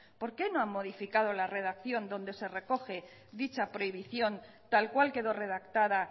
por qué no han modificado la redacción donde se recoge dicha prohibición tal cual quedó redactada